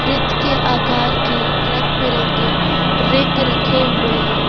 वृत्त के आकार की रंग बिरंगे रिंग रखे हुए हैं।